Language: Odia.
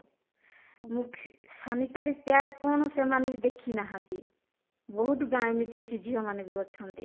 sanitary pad କଣ ସେମାନେ ବି ଦେଖିନାହାନ୍ତି ବହୁତ ଗାଁ ଏମିତି ଅଛି ଝିଅ ମାନେ ବି ଅଛନ୍ତି